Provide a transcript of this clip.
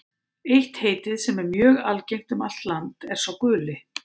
Eitt heitið, sem er mjög algengt um allt land, er sá guli.